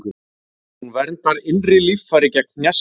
Hún verndar innri líffæri gegn hnjaski.